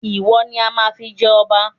Ìwọ ni a máa fi jẹ ọba